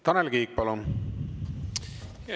Tanel Kiik, palun!